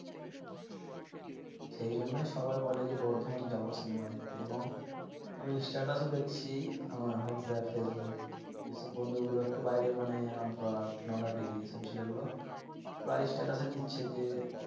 সেই জন্যেই সবাই বলে যে বর্ধমানে যাবো cinema দেখতে। এবং আমি status ও দেখছি আমার whatsapp facebook যেসব বন্ধুগুলো একটু বাইরে মানে রামপুরহাট নলহাটি এইসব ছেলেগুলো প্রায় status এ দিচ্ছে যে